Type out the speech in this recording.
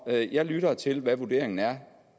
jeg lytter til hvad vurderingen er